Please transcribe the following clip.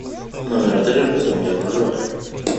номер отеля в котором я проживаю